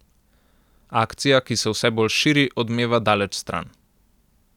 Akcija, ki se vse bolj širi, odmeva daleč stran.